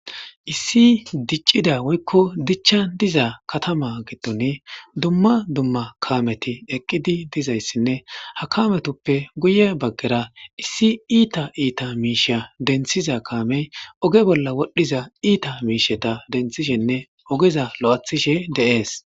issi diccida woykko dichcha diza katama giddon dumma dumma kaameti eqqidi dizayssinne ha kaametoppe guye baggera issi iita iita miisha denthiza kaamey oge bolla wodhdhiza iita miisheta denthishenne ogeza lo7athishe de'es